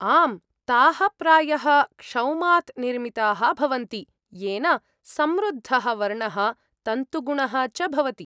आम्, ताः प्रायः क्षौमात् निर्मिताः भवन्ति, येन समृद्धः वर्णः तन्तुगुणः च भवति।